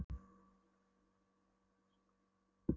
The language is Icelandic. Skafti tvær dætur áður en hann kvæntist.